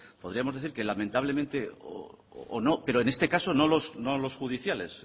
podríamos decir que lamentablemente o no pero en este caso no los judiciales